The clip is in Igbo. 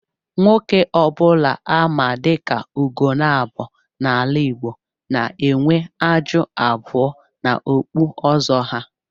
Nwoke obula á ma diká "ùgonabọ " n'ala Igbo n'enwe ájụ́ abụọ n'okpú ọzọ ha